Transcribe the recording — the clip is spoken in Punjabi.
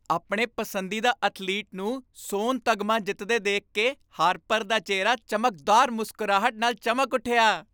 ਆਪਣੇ ਪਸੰਦੀਦਾ ਅਥਲੀਟ ਨੂੰ ਸੋਨ ਤਗਮਾ ਜਿੱਤਦੇ ਦੇਖ ਕੇ ਹਾਰਪਰ ਦਾ ਚਿਹਰਾ ਚਮਕਦਾਰ ਮੁਸਕਰਾਹਟ ਨਾਲ ਚਮਕ ਉੱਠਿਆ।